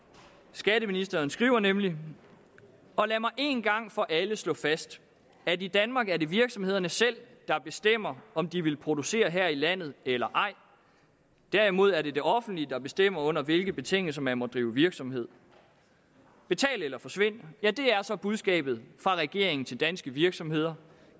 skatteministeren skriver nemlig og lad mig en gang for alle slå fast at i danmark er det virksomhederne selv der bestemmer om de vil producere her i landet eller ej derimod er det det offentlige der bestemmer under hvilke betingelser man må drive virksomhed betal eller forsvind ja det er så budskabet fra regeringen til danske virksomheder